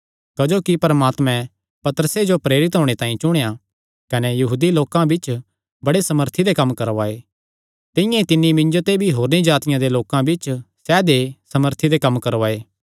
क्जोकि परमात्मैं पतरसे जो प्रेरित होणे तांई चुणेया कने यहूदी लोकां बिच्च बड़े सामर्थी दे कम्म करवाये तिंआं ई तिन्नी मिन्जो ते भी होरनी जातिआं दे लोकां बिच्च सैदेय सामर्थी दे कम्म करवाये